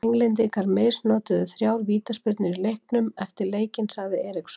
Englendingar misnotuðu þrjár vítaspyrnur í leiknum og eftir leikinn sagði Eriksson.